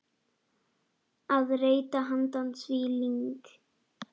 að reyta handa því lyng.